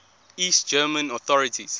east german authorities